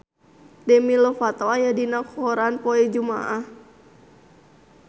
Demi Lovato aya dina koran poe Jumaah